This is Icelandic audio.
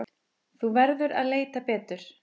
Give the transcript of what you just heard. Þú verður að leita betur.